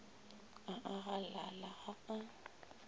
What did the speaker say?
a a galala ga a